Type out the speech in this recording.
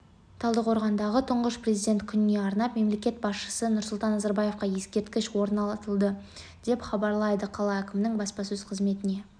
талдықорғанда тұңғыш президент күніне арнап мемлекет басшысы нұрсұлтан назарбаевқа ескерткіш орнатылды деп хабарлайды қала әкімінің баспасөз-қызметіне